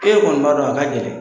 Ee kɔni b'a dɔn a ka gɛlɛn.